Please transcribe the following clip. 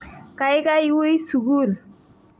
Kaikai wii sukul.